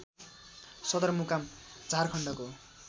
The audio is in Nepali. सदर मुकाम झारखण्डको